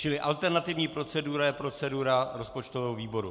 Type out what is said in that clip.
Čili alternativní procedura je procedura rozpočtového výboru.